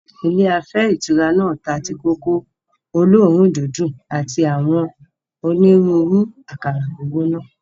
Ilé afẹ́ ìtura náà ta tíì-kòkó olóòórùn-dídùn àti àwọn onírúurú àkàrà gbígbóná.